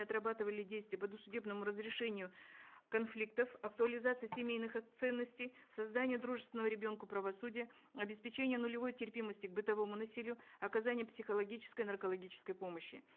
отрабатывали действия по досудебному разрешению конфликтов актуализации семейных ценностей создание дружественного ребенку правосудия обеспечение нулевой терпимости к бытовому насилию оказание психологической наркологической помощи